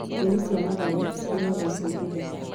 Nyeni cia matharũ cirĩagwo ciĩnduge